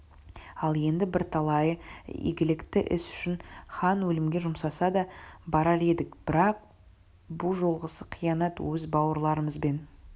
ал енді бірталайы игілікті іс үшін хан өлімге жұмсаса да барар едік бірақ бұ жолғысы қиянат өз бауырларымызбен